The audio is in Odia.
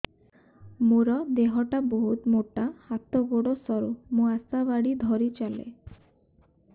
ମୋର ଦେହ ଟା ବହୁତ ମୋଟା ହାତ ଗୋଡ଼ ସରୁ ମୁ ଆଶା ବାଡ଼ି ଧରି ଚାଲେ